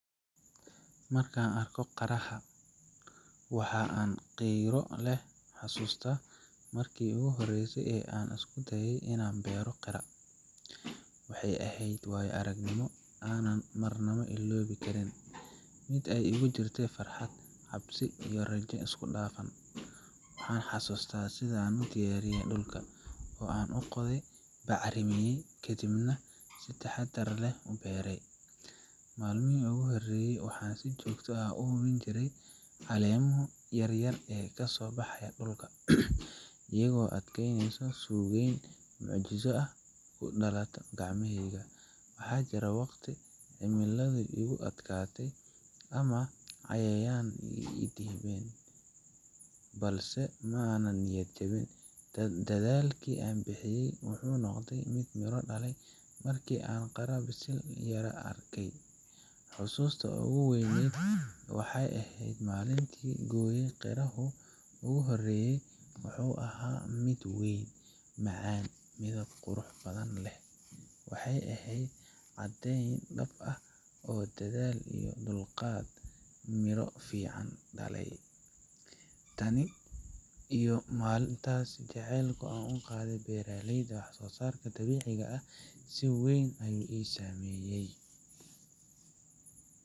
Marka aan arko qaraha , waxaan si qiiro leh u xasuustaa markii ugu horreysay aan isku dayay inaan beero qare. Waxay ahayd waayo aragnimo aanan marnaba illoobi karin mid ay ku jirtay farxad, cabsi iyo rajo isku dhafan. Waxaan xasuustaa sida aan u diyaariyay dhulka aan qoday, aan bacrimeeyay, kadibna si taxaddar leh u beerey. Maalmihii ugu horreeyay waxaan si joogto ah u hubin jiray caleemaha yar yar ee kasoo baxaya dhulka, iyadoo indhahaygu sugayeen mucjiso ka dhalata gacmaheyga. Waxaa jiray waqtiyo cimiladu igu adkaatay ama cayayaan i dhibeen, balse ma aanan niyad jabin. Dadaalkii aan bixiyay wuxuu noqday mid miro dhalay, markaan arko qaraha bisil yara arke Xusuustii ugu weynayd waxay ahayd maalintii aan gooyay qarahaygii ugu horreeyay. Wuxuu ahaa mid weyn, macaan, midab qurux badan leh waxay ahayd caddeyn dhab ah in dadaal iyo dulqaad midho fiican dhalaan. Tan iyo maalintaas, jacaylka aan u qabo beeraleyda iyo wax soosaarka dabiiciga ah si weyn ayuu ii saameeyay.